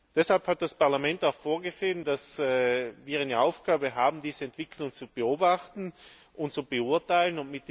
Deshalb hat das Parlament auch vorgesehen, dass wir eine Aufgabe haben, diese Entwicklung zu beobachten und zu beurteilen.